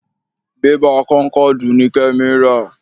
bébà kónkọ̀dù ni Kẹ́mi ra.